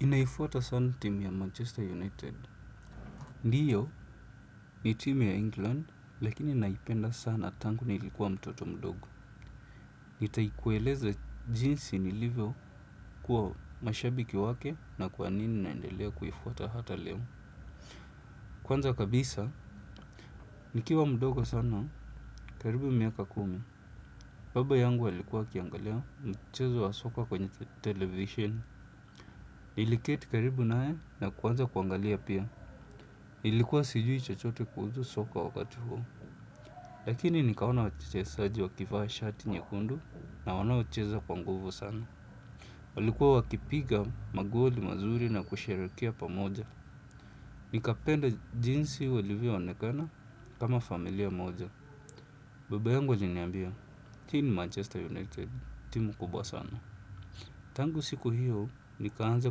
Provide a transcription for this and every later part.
Ninaifuata sana timu ya Manchester United. Ndiyo, ni timu ya England lakini naipenda sana tangu nilikuwa mtoto mdogo. Nitakueleza jinsi nilivyokuwa mshabiki wake na kwa nini naendelea kuifuata hata leo. Kwanza kabisa, nikiwa mdogo sana, karibu miaka kumi baba yangu alikuwa akiangalia mchezo wa soka kwenye television. Niliketi karibu naye na kuanza kuangalia pia. Nilikuwa sijui chochote kuhusu soka wakati huo. Lakini nikaona wachezaji wakivaa shati nyekundu na wanacheza kwa nguvu sana. Walikuwa wakipiga magoli mazuri na kusherehekea pamoja. Nikapenda jinsi walivyoonekana kama familia moja. Baba yangu aliniambia, hii ni Manchester United, timu kubwa sana. Tangu siku hiyo, nikaanza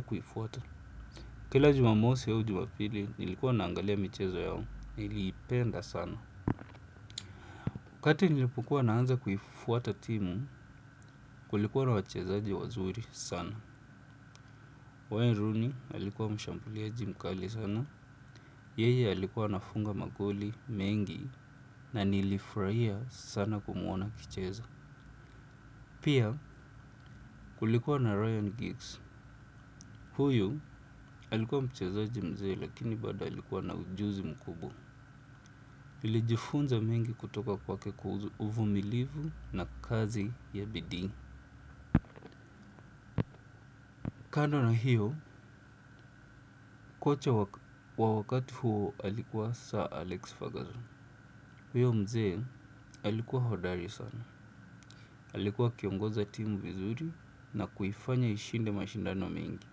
kuifuata. Kila jumamosi au jumapili, nilikuwa naangalia michezo yao. Niliipenda sana. Wakati nilipokuwa naanza kuifuata timu kulikuwa na wachezaji wazuri sana. Wayne Rooney alikuwa mshambuliaji mkali sana. Yeye alikuwa anafunga magoli mengi na nilifurahia sana kumuona akicheza. Pia kulikuwa na Ryan Giggs. Huyu alikuwa mchezaji mzee lakini bado alikuwa na ujuzi mkubwa. Nilijifunza mengi kutoka kwake, uvumilivu na kazi ya bidii. Kando na hiyo, kocha kwa wakati huo alikuwa Sir Alex Ferguson, huyo mzee alikuwa hodari sana, alikuwa akiongoza timu vizuri na kuifanya ishinde mashindano mengi,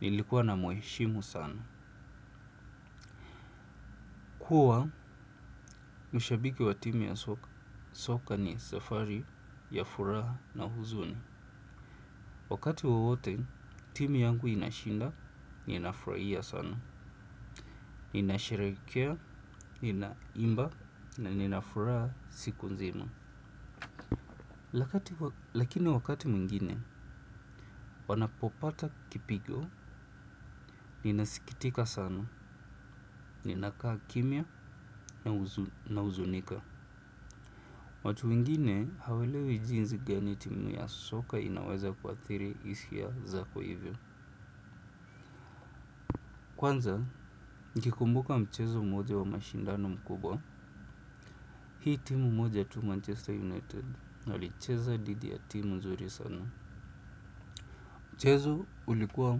nilikuwa namheshimu sana. Kuwa mshabiki wa timu ya soka ni safari ya furaha na huzuni. Wakati wowote, timu yangu inashinda, ninafurahia sana. Ninasherehekea, ninaimba, na ninafuraha siku nzima. Lakini wakati mwingine, wanapopata kipigo, ninasikitika sana, ninakaa kimya na huzunika. Watu wengine hawaelewi jinsi gani timu ya soka inaweza kuathiri hisia zako hivyo. Kwanza, nikikumbuka mchezo mmoja wa mashindano mkubwa. Hii timu mmoja tu Manchester United, walicheza dhidi ya timu nzuri sana. Mchezo ulikuwa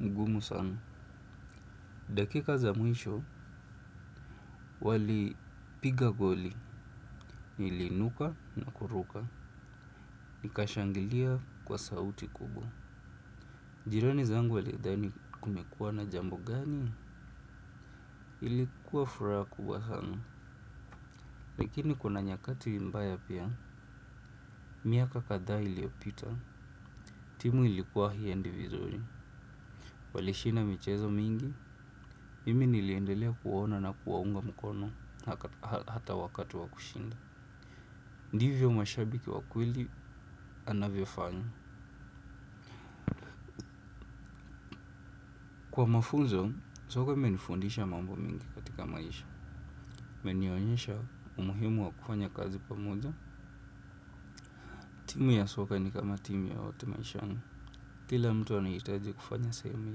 mgumu sana. Dakika za mwisho, walipiga goli niliinuka na kuruka. Nikashangilia kwa sauti kubwa. Jirani zangu walidhani kumekuwa na jambo gani? Ilikuwa furaha kubwa sana. Lakini kuna nyakati mbaya pia, miaka kadha iliyopita, timu ilikuwa haiendi vizuri. Walishinda michezo mingi, mimi niliendelea kuwaona na kuwaunga mkono hata wakati wa kushinda. Ndivyo mashabiki wa kweli anavyofanya. Kwa mafunzo, soka imenifundisha mambo mengi katika maisha. Imenionyesha umuhimu wa kufanya kazi pamoja. Timu ya soka ni kama timu yoyote maishani. Kila mtu anahitaji kufanya sehemu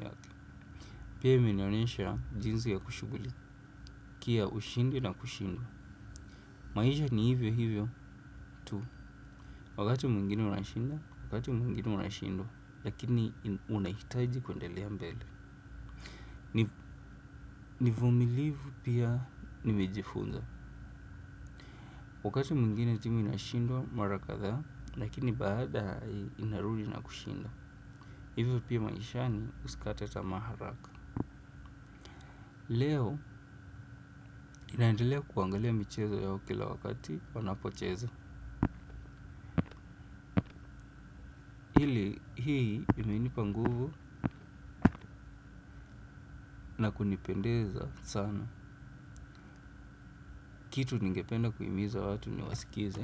yake. Pia imenionyesha jinsi ya kushughulika kia ushindi na kushindwa. Maisha ni hivyo hivyo tu. Wakati mwingine unashinda, wakati mwingine unashindwa. Lakini unahitaji kuendelea mbele. Uvumilivu pia nimejifunza. Wakati mwingine timu inashindwa mara kadhaa. Lakini baadaye inarudi na kushinda. Hivyo pia maishani usikate tamaa haraka. Leo ninaendelea kuangalia michezo yao kila wakati wanapocheza. Hii imenipa nguvu na kunipendeza sana. Kitu ningependa kuhimiza watu ni wasikilize.